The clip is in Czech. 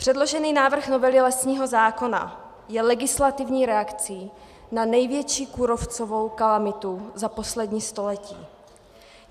Předložený návrh novely lesního zákona je legislativní reakcí na největší kůrovcovou kalamitu za poslední století.